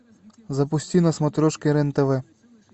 запусти на смотрешке рен тв